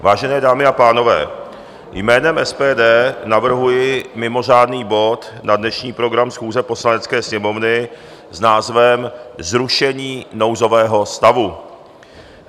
Vážené dámy a pánové, jménem SPD navrhuji mimořádný bod na dnešní program schůze Poslanecké sněmovny s názvem Zrušení nouzového stavu.